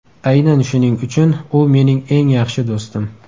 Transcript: Aynan shuning uchun u mening eng yaxshi do‘stim.